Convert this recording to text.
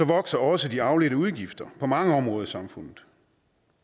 vokser også de afledte udgifter på mange områder i samfundet